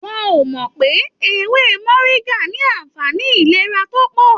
Wọn o mọ pé ewé moringa ní anfààní ìlera tó pọ.